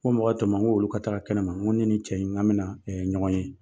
N ko mɔgɔ to n ma, n k'olu ka taga kɛnɛma, n ko ni nin cɛ in, n k'a bɛna ɲɔgɔn ye.